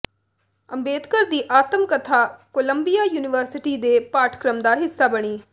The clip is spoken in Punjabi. ਅੰਬੇਦਕਰ ਦੀ ਆਤਮ ਕਥਾ ਕੋਲੰਬੀਆ ਯੂਨੀਵਰਸਿਟੀ ਦੇ ਪਾਠਕ੍ਰਮ ਦਾ ਹਿੱਸਾ ਬਣੀ